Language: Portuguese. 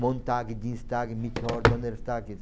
Montag, Dienstag, Mittwoch, Donnerstag.